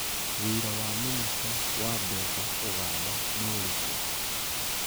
wĩra wa minista wa mbeca Uganda nĩ ũrĩkũ?